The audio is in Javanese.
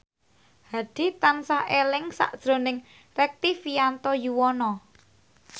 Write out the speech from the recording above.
Hadi tansah eling sakjroning Rektivianto Yoewono